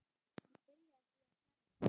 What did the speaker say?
Hann byrjaði því að selja.